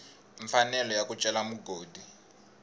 mfanelo ya ku cela mugodi